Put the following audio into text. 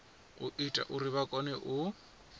ita uri vha kone u